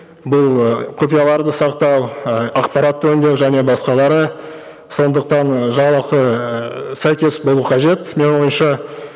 бұл ы құпияларды сақтау ы ақпаратты өндеу және басқалары сондықтан і жалақы ыыы сәйкес болу қажет менің ойымша